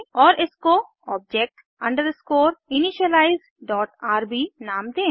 और इसको object underscore initialize dot RB नाम दें